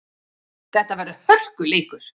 Þetta verður hörkuleikur!